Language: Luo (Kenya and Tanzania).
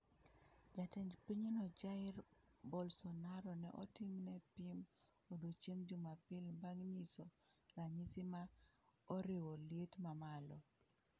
Jatend pinyno Jair Bolsonaro ne otimne pim odiechieng' Jumapil bang' nyiso ranyisi ma oriwo liet mamalo.